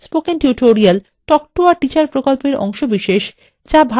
spoken tutorial talk to a teacher প্রকল্পের অংশবিশেষ